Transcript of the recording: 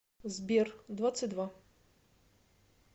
сбер двадцать два